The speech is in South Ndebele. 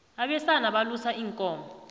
abesana balusa iinkomo